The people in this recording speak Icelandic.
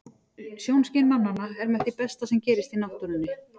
Sjónskyn mannanna er með því besta sem gerist í náttúrunni.